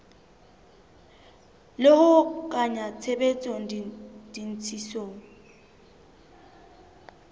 le ho kenya tshebetsong ditshisinyo